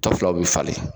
To filaw bɛ falen